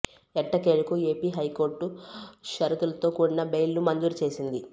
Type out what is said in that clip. ఎట్టకేలకు AP high court షరతులతో కూడిన బెయిల్ ను మంజూరు చేసింది